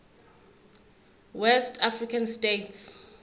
west african states